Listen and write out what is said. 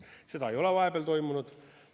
Seda ei ole vahepeal toimunud.